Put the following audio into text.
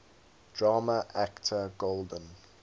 drama actor golden